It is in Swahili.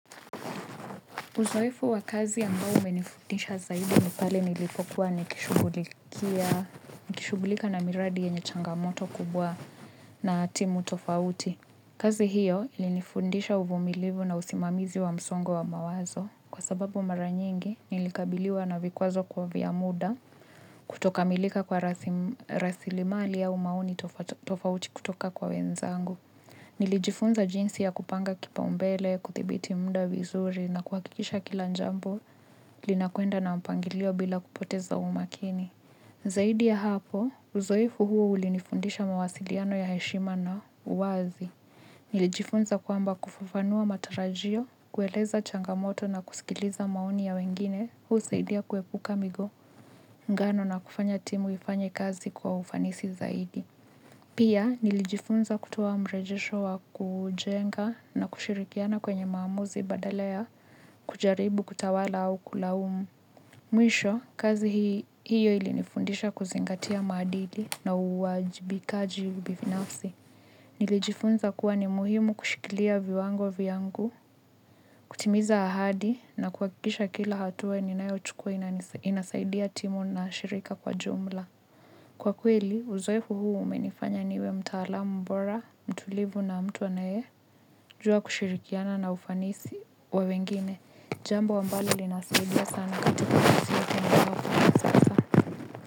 Uzoefu wa kazi ambao umenifundisha zaidi ni pale nilipokuwa nikishugulika na miradi yenye changamoto kubwa na timu tofauti. Kazi hiyo ilinifundisha uvumilivu na usimamizi wa msongo wa mawazo. Kwa sababu mara nyingi, nilikabiliwa na vikwazo kwa vya muda kutokamilika kwa rasilimali au maoni tofauti kutoka kwa wenzangu. Nilijifunza jinsi ya kupanga kipaumbele, kuthibiti muda vizuri na kuhakikisha kila jambo linakwenda na mpangilio bila kupoteza umakini. Zaidi ya hapo, uzoefu huo ulinifundisha mawasiliano ya heshima na uwazi. Nilijifunza kwamba kufafanua matarajio, kueleza changamoto na kusikiliza maoni ya wengine, husaidia kuepuka migongano na kufanya timu ifanye kazi kwa ufanisi zaidi. Pia, nilijifunza kutoa mrejesho wa kujenga na kushirikiana kwenye maamuzi badala ya kujaribu kutawala au kulaumu. Mwisho, kazi hiyo ilinifundisha kuzingatia maadili na uwajibikaji binafsi. Nilijifunza kuwa ni muhimu kushikilia viwango vyangu, kutimiza ahadi na kuhakikisha kila hatua ninayochukua inasaidia timu na shirika kwa jumla. Kwa kweli, uzoefu huu umenifanya niwe mtaalamu mbora, mtulivu na mtu anayejua kushirikiana na ufanisi wa wengine, jambo ambalo linasaidia sana katika ulisi.